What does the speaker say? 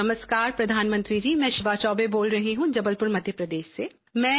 नमस्कार प्रधामंत्री जी मैं शिवा चौबे बोल रही हूँ जबलपुर मध्य प्रदेश से